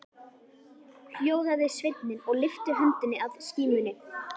Hljóðaði sveinninn og lyfti höndinni að skímunni.